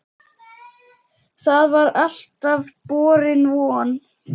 Það var alltaf borin von